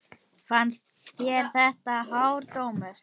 Fannst þér þetta hár dómur?